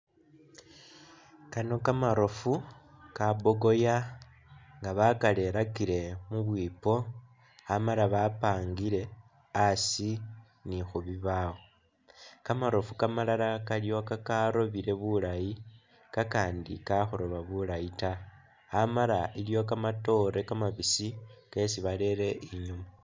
Kano kamaroofu ka bogoya nga bakalerakile mubwipo amala bapangile a'asi ni khubibawo, kamaroofu kaliwo kamalala kakaroobile bulayi kakandi kakhurooba bulayi ta amala iliwo kamatoore kamabisi kesi barele inyuma